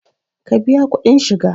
Ka biya kuɗin shiga!